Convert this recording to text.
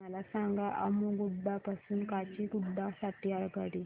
मला सांगा अम्मुगुडा पासून काचीगुडा साठी आगगाडी